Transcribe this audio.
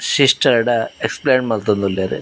ಸಿಸ್ಟರ್ಡ explain ಮಲ್ತೊಂದುಲ್ಲೆರ್.